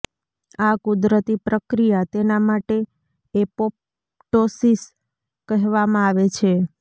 આ કુદરતી પ્રક્રિયા તેના માટે એપોપ્ટોસીસ કહેવામાં આવે છે